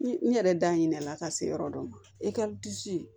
N yɛrɛ da hinɛ la ka se yɔrɔ dɔ ma i ka disi